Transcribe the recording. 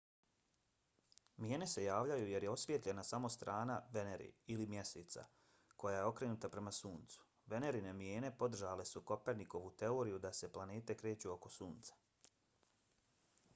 mijene se javljaju jer je osvijetljena samo strana venere ili mjeseca koja je okrenuta prema suncu. venerine mijene podržale su kopernikovu teoriju da se planete kreću oko sunca